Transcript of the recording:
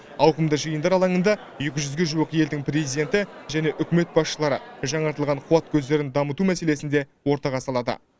ауқымды жиындар алаңында екі жүзге жуық елдің президенті және үкімет басшылары жаңартылған қуат көздерін дамыту мәселесін де ортаға салады